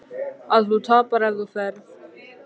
Að þú tapar ef þú ferð.